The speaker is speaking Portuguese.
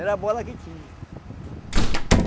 Era a bola que tinha.